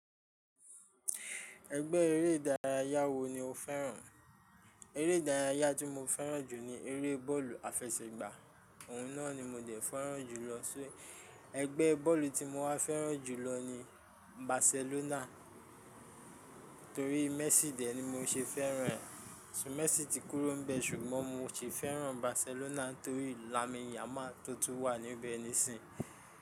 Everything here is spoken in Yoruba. Ẹgbẹ́ eré ìdárayá wo ni o fẹ́ràn? Eré ìdárayá tí mo fẹ́ràn jù ni eré bọ́ọ̀lù àfẹsẹ̀gbá òun náà ni mo dẹ̀ fẹ́ràn jùlọ. Ṣé ẹgbẹ́ bọ́ọ̀lù tí mo wá fẹ́ràn jùlọ ni Barcelona torí Messi dẹ̀ ni mo ṣe fẹ́ràn rẹ̀. Ṣùgbọ́n Messi ti kúrò bẹ̀ ṣùgbọ́n mo ṣì fẹ́ràn Barcelona torí Lamine Yamal tó tún wà níbẹ̀ nísìnyí.